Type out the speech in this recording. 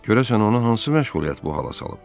Görəsən onu hansı məşğuliyyət bu hala salıb?